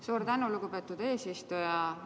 Suur tänu, lugupeetud eesistuja!